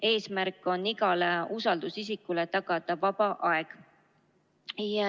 Eesmärk on tagada igale usaldusisikule vaba aeg.